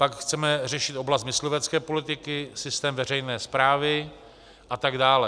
Pak chceme řešit oblast myslivecké politiky, systém veřejné správy a tak dále.